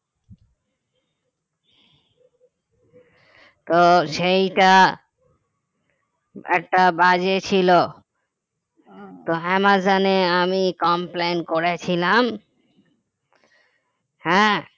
তো সেইটা একটা বাজে ছিল তো অ্যামাজনে আমি complain করেছিলাম হ্যাঁ